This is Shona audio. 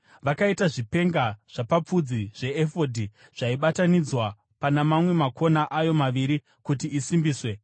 Vakaita zvipenga zvapapfudzi zveefodhi, zvaibatanidzwa pana mamwe makona ayo maviri, kuti isimbiswe.